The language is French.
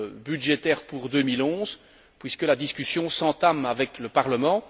budgétaires pour 2011, puisque la discussion s'entame avec le Parlement.